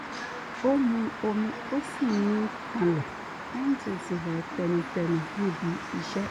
ó mu omi ó sì mí kanlẹ̀ lẹ́yìn tó ti rẹ̀ ẹ́ tẹnutẹnu níbi iṣẹ́